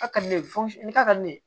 A ka di ne ye fo ni ka di ne ye